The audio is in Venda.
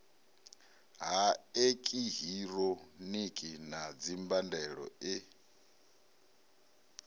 ha eekihironiki na dzimbandelo e